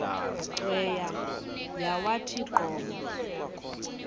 cweya yawathi qobo